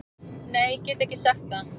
Nei get ekki sagt það.